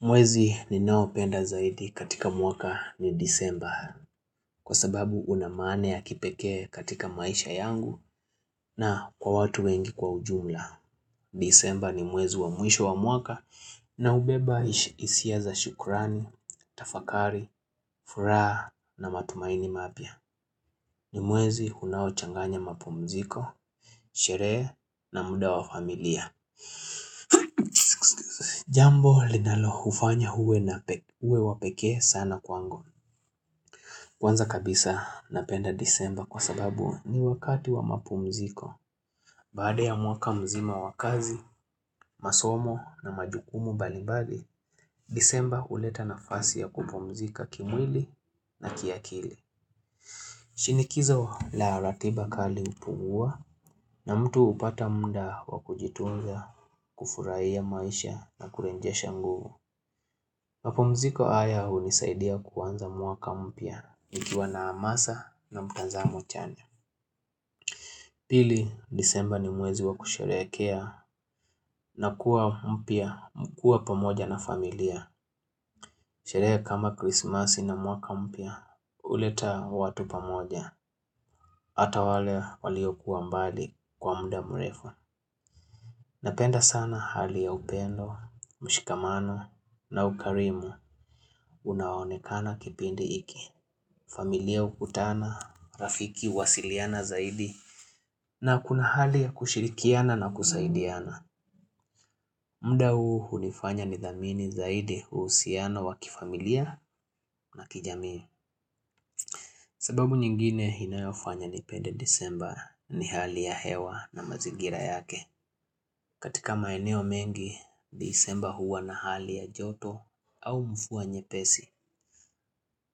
Mwezi ninaoupenda zaidi katika mwaka ni Desemba kwa sababu una maana ya kipekee katika maisha yangu na kwa watu wengi kwa ujumla. Disemba ni mwezi wa mwisho wa mwaka na hubeba hisia za shukurani, tafakari, furaha na matumaini mapya ni mwezi unaochanganya mapumziko, sherehe na muda wa familia. Jambo linaloufanya uwe wa pekee sana kwangu. Kwanza kabisa, napenda Desemba kwa sababu ni wakati wa mapumziko. Baada ya mwaka mzima wa kazi, masomo na majukumu mbalimbali, Desemba huleta nafasi ya kupumzika kimwili na kiakili. Shinikizo la ratiba kali hupungua, na mtu hupata muda wa kujitunza, kufurahia maisha na kurejesha nguvu. Mapumziko haya hunisaidia kuanza mwaka mpya nikiwa na hamasa na mtazamo chanya. Pili, Desemba ni mwezi wa kusherehekea na kuwa pamoja na familia. Sherehe kama Krismasi na mwaka mpya huleta watu pamoja, hata wale waliokuwa mbali kwa muda mrefu. Napenda sana hali ya upendo, mshikamano na ukarimu. Unaoonekana katika kipindi hiki. Familia hukutana, marafiki huwasiliana zaidi, na kuna hali ya kushirikiana na kusaidiana. Muda huu hunifanya nithamini zaidi uhusiano wa kifamilia na kijamii. Sababu nyingine inayofanya nipende Desemba ni hali ya hewa na mazingira yake. Katika maeneo mengi, Desemba huwa na hali ya joto au mvua nyepesi.